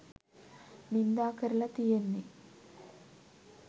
නින්දා කරල තියෙන්නෙ.